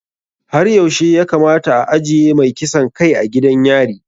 Har yaushe ya kamata a ajiye mai kisan kai a gidan yari?